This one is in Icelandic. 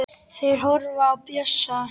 Þeir horfa á Bjössa.